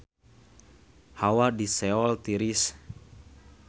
Hawa di Seoul tiris